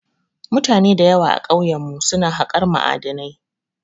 Mutane da yawa a kauyen mu su na haƙar ma'adinai